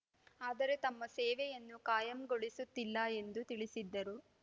ಆದರೆ ತಮ್ಮ ಸೇವೆಯನ್ನು ಕಾಯಂಗೊಳಿಸುತ್ತಿಲ್ಲ ಎಂದು ತಿಳಿಸಿದ್ದರು